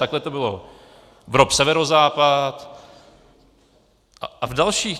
Takhle to bylo v ROP Severozápad a v dalších.